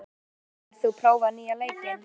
Ósvald, hefur þú prófað nýja leikinn?